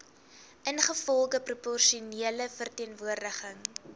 ingevolge proporsionele verteenwoordiging